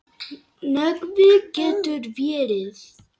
Nökkvi getur verið